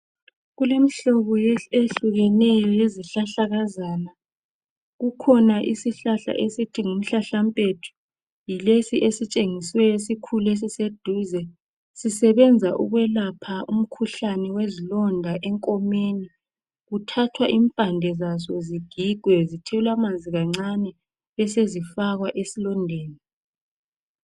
Kulemihlobo eminengi yezihlahlakazana esiwubiza ngomhlahlampethu ,yilesi esitshengisiweyo esikhulu , sisebenza ukwelapha umkhuhlane wezilonda ,enkomeni kuthathwa impande zazo zigigwe zithelwe amanzi kancene besezifakwa esilondeni.